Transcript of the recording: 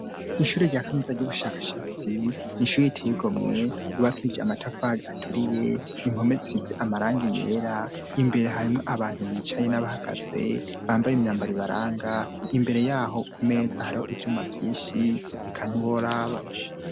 Ishure rya Kaminuza ry'ubushakashatsi nishur iteyigomwe rubakije amatafari aturiye impomezisitsi amarangi yera imbere harimwo abantu bicaye n'abahagaze bambaye imyambaribaranga imbere yaho ku meza hariho ibyuma byishi rikaniworaba.